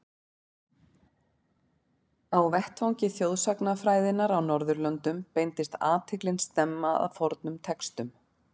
Á vettvangi þjóðsagnafræðinnar á Norðurlöndum beindist athyglin snemma að fornum textum.